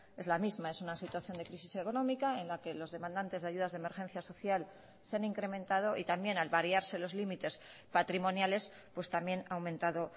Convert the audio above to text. es la misma es una situación de crisis económica en la que los demandantes de ayudas de emergencia social se han incrementado y también al variarse los límites patrimoniales pues también ha aumentado